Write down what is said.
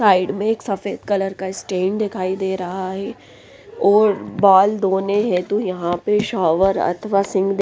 side में एक सफेद कलर का स्टेन दिखाई दे रहा हैं और बाल धोने हेतु यहाँ पे शॉवर अथवा सिंक --